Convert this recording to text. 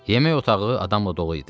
Yemək otağı adamla dolu idi.